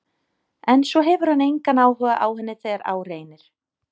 En svo hefur hann engan áhuga á henni þegar á reynir.